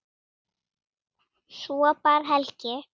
Svo bar Helgi